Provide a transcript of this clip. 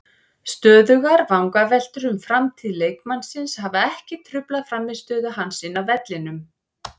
Stöðugar vangaveltur um framtíð leikmannsins hafa ekki truflað frammistöðu hans inni á vellinum.